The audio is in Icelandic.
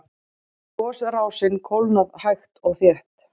Gosrásin kólnað hægt og þétt